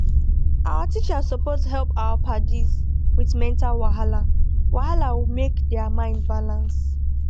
our teachers supos hep our padis with mental wahala wahala make dia mind balance